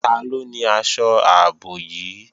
Taló ni aṣọ ààbò yìí?